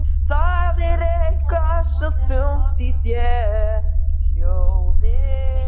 Það er eitthvað svo þungt í þér hljóðið.